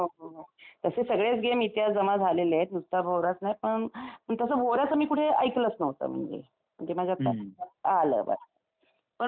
तसे सगळेच गेम इतिहास जमा झालेले आहेत. एक नुसता भवराच नाही पण मी तसं भोवऱ्याचं मी कुठे ऐकलंच नव्हतं म्हणजे. ते माझ्या असं आलं. पण मग